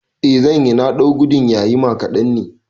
Eh zanyi, na ɗau gudun yayima kaɗan ne